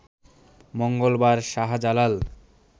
মঙ্গলবার শাহজালাল